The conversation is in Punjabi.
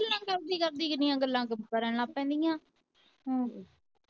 ਗੱਲਾਂ ਕਰਦੀ ਕਰਦੀ ਕਿੰਨੀਆਂ ਗੱਲਾਂ ਕਰਨ ਲੱਗ ਪੈਂਦੀਆਂ ਹਮ